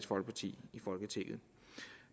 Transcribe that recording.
folkeparti i folketinget